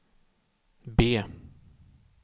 B